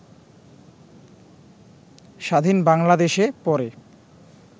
স্বাধীন বাংলাদেশে পরে